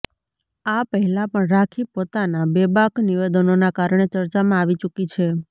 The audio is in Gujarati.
આ પહેલા પણ રાખી પોતાના બેબાક નિવેદનોના કારણે ચર્ચામાં આવી ચૂંકી છે